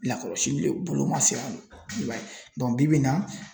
Lakɔlɔsili le bolo man se i b'a ye bi bi in na